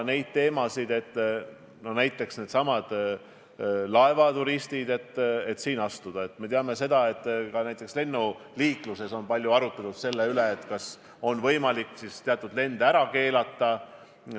Peale laevaturismi piiramise on ka palju arutatud selle üle, kas on võimalik teatud lende ära keelata.